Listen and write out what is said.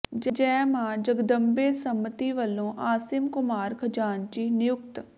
ਜੈ ਮਾਂ ਜਗਦੰਬੇ ਸਮਿਤੀ ਵੱਲੋਂ ਆਸਿਮ ਕੁਮਾਰ ਖ਼ਜ਼ਾਨਚੀ ਨਿਯੁਕਤ